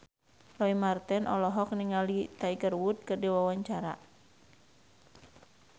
Roy Marten olohok ningali Tiger Wood keur diwawancara